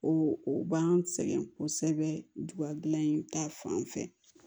O o b'an sɛgɛn kosɛbɛ duga dilan in ta fan fɛ